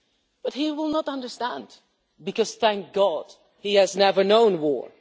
But he will not understand because, thank God, he has never known war.